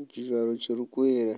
ekijwaro kirikwera.